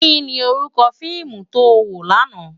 Ki ni órúkò fiimu tó wó làná?